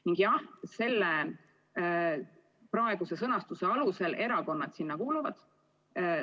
Ning jah, praeguse sõnastuse kohaselt erakonnad sinna kuuluvad.